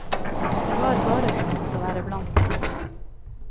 Det var bare stort å være blant dem.